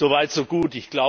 Soweit so gut.